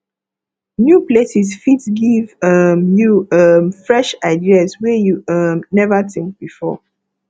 new places fit give um you um fresh ideas wey you um never think before